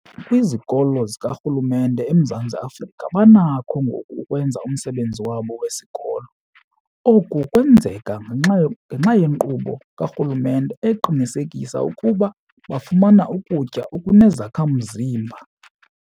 Kwizikolo zikarhulumente eMzantsi Afrika banakho ngoku ukwenza umsebenzi wabo wesikolo. Oku kwenzeka ngenxa yenkqubo karhulumente eqinisekisa ukuba bafumana ukutya okunezakha-mzimba.